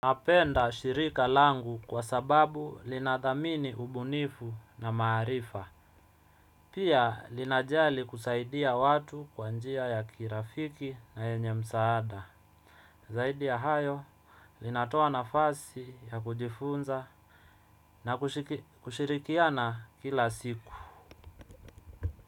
Napenda shirika langu kwa sababu lina dhamini ubunifu na maarifa. Pia linajali kusaidia watu kwa njia ya kirafiki na yenye msaada zaidi ya hayo, linatoa nafasi ya kujifunza na kushirikiana kila siku.